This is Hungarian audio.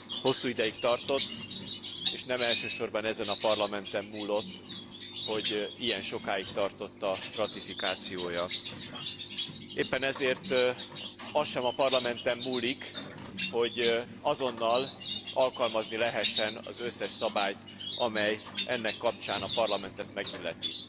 Hosszú ideig tartott, és nem elsősorban ezen a Parlamenten múlott, hogy ilyen sokáig tartott a ratifikációja. Éppen ezért az sem a Parlamenten múlik, hogy azonnal alkalmazni lehessen az összes szabályt, amely ennek kapcsán a parlamentet megilleti.